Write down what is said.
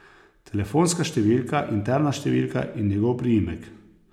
Telefonska številka, interna številka in njegov priimek.